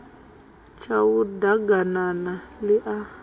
tshau d aganana ḽi a